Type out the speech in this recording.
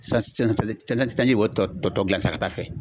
sanji b'o tɔ tɔ gilan sa ka taa a fɛ.